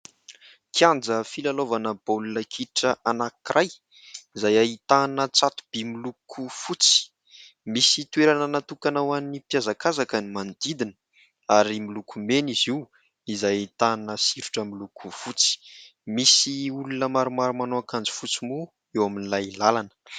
kianja filalaovana baolakitra anakiray izay hahitana tsatoby miloko fotsy misy toerana natokana ho an'ny mpiazakazaka ny manodidina ary milokomena izy io izay hitana sirotra miloko fotsy misy olona maromaro-manao ankanjy fotsy moa eo amin'ilay lalana